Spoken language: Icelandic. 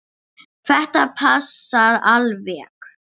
Þetta passar alveg.